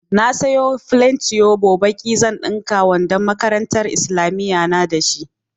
Na sayo flen tuyobo baƙi, zan ɗinka wandon makarantar islamiyya na da shi.